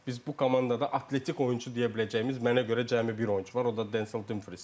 Biz bu komandada atletik oyunçu deyə biləcəyimiz mənə görə cəmi bir oyunçu var, o da Denzel Dumfriesdir.